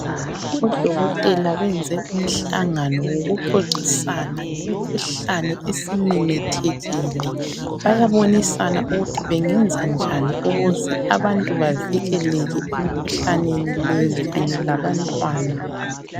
Odokotela benze umhlangano wokuxoxisana ngemkhuhlane esimemethekile. Bayabonisana ukuthi bengenzanjani ukuze abantu bavikeleke emkhuhlaneni leyi kanye labantwana.